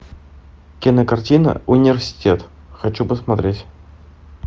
кинокартина университет хочу посмотреть